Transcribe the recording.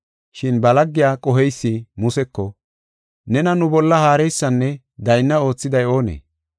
“Shin ba laggiya qoheysi Museko, ‘Nena nu bolla haareysanne daynna oothiday oonee?